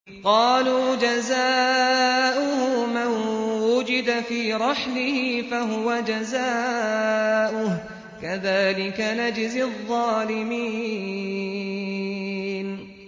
قَالُوا جَزَاؤُهُ مَن وُجِدَ فِي رَحْلِهِ فَهُوَ جَزَاؤُهُ ۚ كَذَٰلِكَ نَجْزِي الظَّالِمِينَ